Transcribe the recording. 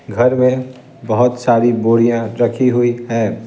घर में बहुत सारी बोड़ियां रखी हुई है।